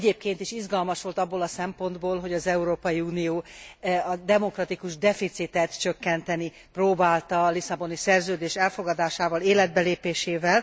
Egyébként is izgalmas volt abból a szempontból, hogy az Európai Unió a demokratikus deficitet csökkenteni próbálta a Lisszaboni Szerződés elfogadásával, életbe lépésével.